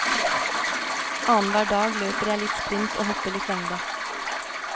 Annenhver dag løper jeg litt sprint og hopper litt lengde.